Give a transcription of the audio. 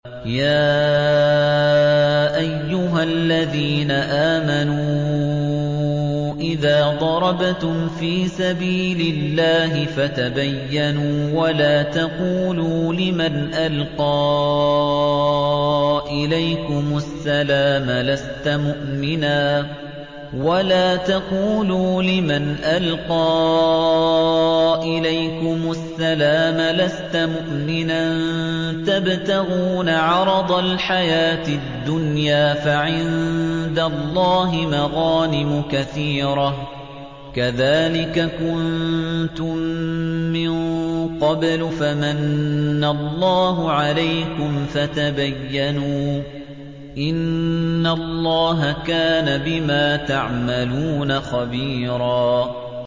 يَا أَيُّهَا الَّذِينَ آمَنُوا إِذَا ضَرَبْتُمْ فِي سَبِيلِ اللَّهِ فَتَبَيَّنُوا وَلَا تَقُولُوا لِمَنْ أَلْقَىٰ إِلَيْكُمُ السَّلَامَ لَسْتَ مُؤْمِنًا تَبْتَغُونَ عَرَضَ الْحَيَاةِ الدُّنْيَا فَعِندَ اللَّهِ مَغَانِمُ كَثِيرَةٌ ۚ كَذَٰلِكَ كُنتُم مِّن قَبْلُ فَمَنَّ اللَّهُ عَلَيْكُمْ فَتَبَيَّنُوا ۚ إِنَّ اللَّهَ كَانَ بِمَا تَعْمَلُونَ خَبِيرًا